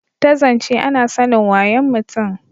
ta zance ana sanin wayon mutum